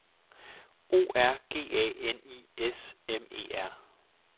O R G A N I S M E R